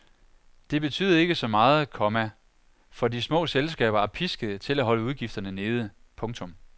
Det betyder ikke så meget, komma for de små selskaber er piskede til at holde udgifterne nede. punktum